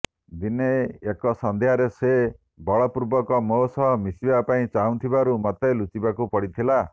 ଦିନେ ଏକ ସନ୍ଧ୍ୟାରେ ସେ ବଳପୂର୍ବକ ମୋ ସହ ମିଶିବା ପାଇଁ ଚାହିବାରୁ ମତେ ଲୁଚିବାକୁ ପଡ଼ିଲା